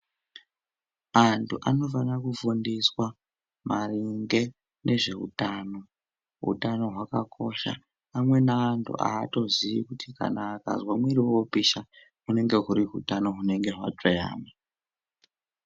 Anthu anofana kufundiswa maringe ngezveutano utano hwakakosha amweni anthu aatoziyi kuti kana akazwa mwiri wopisha hunenge huri hutano hunenge hwatsveyama.